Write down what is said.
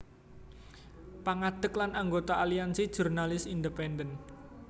Pangadeg lan anggota Aliansi Jurnalis Independen